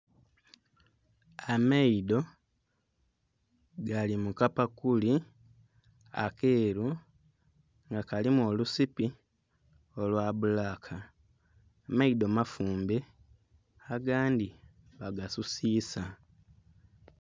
Amaidho gali mukapakuli akelu nga kalimu olusipi olwa bulaka, amaidho mafumbe agandhi bagasusisa.